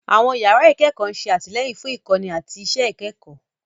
Àwọn yàrá ìkẹ́kọ̀ọ́ ń ṣe àtìlẹ́yìn fún ìkọ́ni àti àwọn iṣẹ́ ìkẹ́kọ̀ọ́.